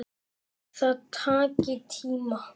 Það taki tíma.